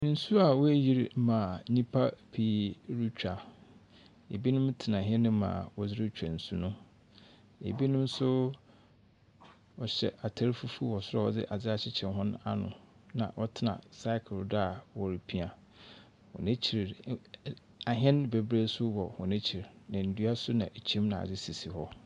Nsuo a wɔayiri ma nipa pii retwa. ebinom tena hɛne mu a ɔderetwa nsuo no. ebinom nso wɔhyɛ ataare fufuo wɔ soro a wɔdze adeɛ akyekyere hɔn ano na ɔtena cycle do a ɔrepia. N'akyire no ahɛn bebree nso wɔ n'akyir na nnua nso sisi hɔ.